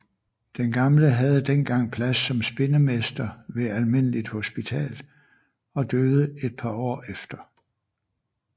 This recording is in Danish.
Den gamle havde den gang plads som spindemester ved almindeligt hospital og døde et par år efter